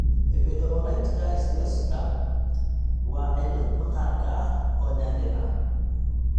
Epidermolyticka ichthyosiska (EI) waa cillad maqaarka ah oo naadir ah.